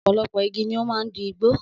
Ọ̀pọ̀lọpọ̀ igi ni ó máa ń di igbó